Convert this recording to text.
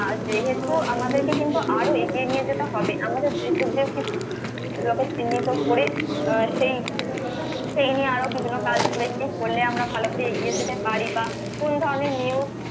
আহ যেহেতু আমাদেরকে কিন্তু আরো এগিয়ে নিয়ে যেতে হবে আমাদের দেশের যে সেগুলোকে চিহ্নিত করে আহ সেই সেই নিয়ে আরো বিভিন্ন কাজ করেছি করলে আমরা ভালো করে এগিয়ে যেতে পারি বা কোন ধরনের news